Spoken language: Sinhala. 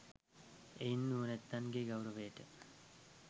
එයින් නුවණැත්තන්ගේ ගෞරවයට